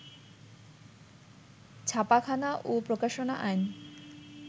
ছাপাখানা ও প্রকাশনা আইন